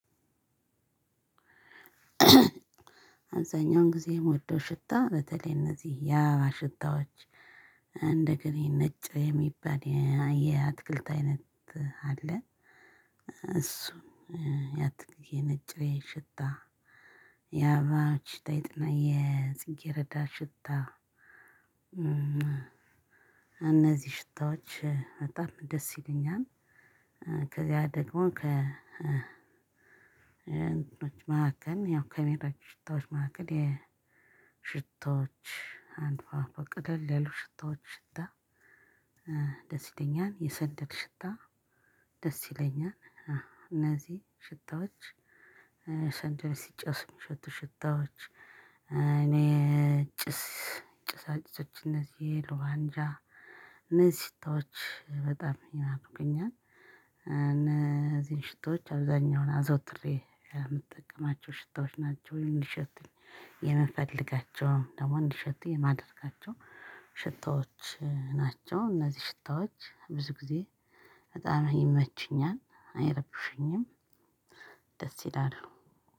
አብዛኛውን ጊዜ የምወደው ሽታ በተለይ እነዚህ የአበባ ሽታዎች እንደገና ነጭ የሚባል የአትክልት አይነት አለ እሱም የነጭ ሽታ የአበባ ሽታ ይጥመኛል የጽጌረዳ ሽታ። እነዚህ ሽታዎች በጣም ደስ ይሉኛል። ከዚያ ደግሞ ከ እንትኖች መካከል ያው ከቤቶች ሽታዎች መካከል የሽቶዎች አሉ ቀለል ያሉ ሽታዎች ሽታ። ደስ ይለኛል የሰንደል ሽታ ደስ ይለኛል። እነዚህ ሽታዎች ሰንደል ሲጨስ የሚሸቱ ሽታዎች እኔ ጭስ ጭሳጭሶች እነዚህ የልዋንጃ እነዚህ ሽታዎች በጣም ይናፍቁኛል። እነዚህን ሽቶዎች አብዛኛውን አዘውትሬ የምጠቀማቸው ሽታዎች ናቸው። እንዲሸቱኝ የምፈልጋቸውን ደግሞ እንዲሸቱኝ የማደርጋቸው ሽታዎች ናቸው። እነዚህ ሽታዎች ብዙ ጊዜ በጣም ይመቸኛል አይረብሹኝም። ደስ ይላል።